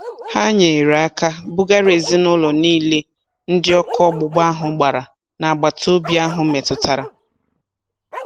Ha nyere aka bugara ezinụlọ niile ndị ọkụ ọgbụgba ahụ gbara n'agbataobi ahụ metụtara